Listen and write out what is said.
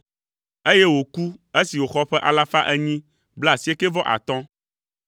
eye wòku esi wòxɔ ƒe alafa enyi blaasiekɛ-vɔ-atɔ̃ (895).